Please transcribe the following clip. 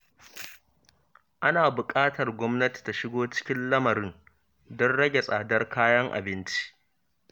Ana buƙatar gwamnati ta shigo cikin lamarin don rage tsadar kayan abinci.